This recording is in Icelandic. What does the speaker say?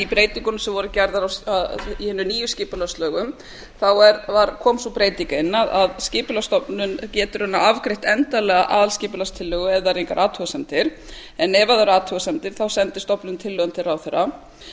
breytingum sem voru gerðar í hinum nýju skipulagslögum kom sú breyting inn að skipulagsstofnun getur raunar afgreitt endanlega aðalskipulagstillögu ef það eru engar athugasemdir en ef það eru athugasemdir þá sendir stofnunin tillöguna til ráðherra